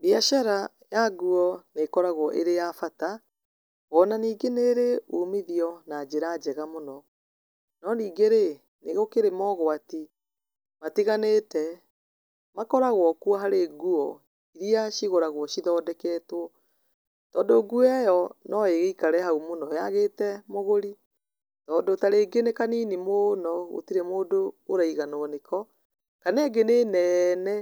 Biacara ya nguo nĩ ĩkoragwo ĩrĩ ya bata ona ningĩ nĩ ĩrĩ umithio na njĩra njega mũno. No ningĩ rĩ nĩ kũrĩ mogwati matiganĩte makoragwo kuo harĩ nguo irĩa cigũragwo cithondeketwo. Tondũ nguo ĩyo no ĩgĩikare hau mũno yaagĩte mũgũri tondũ ta rĩngĩ nĩ kanini mũno gũtirĩ mũndũ ũraiganũo nĩko kana ĩngĩ nĩ nene